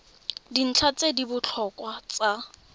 dintlha tse di botlhokwa tsa